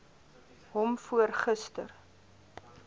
hom voor gister